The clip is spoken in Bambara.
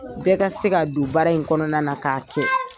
Bɛɛ ka se ka don baara in kɔnɔna na k'a kɛ.